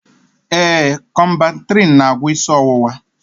Ee, Kọmbantrịịn n'agwọ isi ọwụwa